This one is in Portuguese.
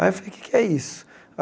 Aí eu falei, o que é que é isso?